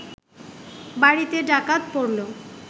বাড়িতে ডাকাত পড়ল